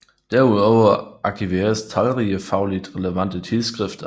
Derudover arkiveres talrige fagligt relevante tidsskrifter